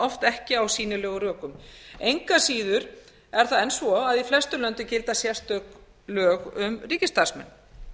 oft ekki á sýnilegum rökum engu að síður er það enn svo að í flestum löndum gilda sérstök lög um ríkisstarfsmenn